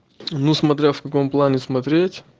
ну смотря в каком плане смотреть